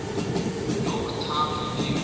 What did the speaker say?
york times review